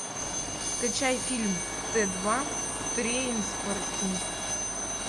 скачай фильм т два трейнспоттинг